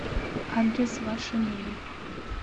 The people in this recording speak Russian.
адрес ваша мебель